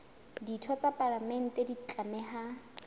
ditho tsa palamente di tlameha